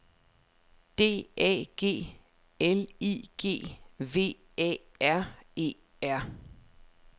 D A G L I G V A R E R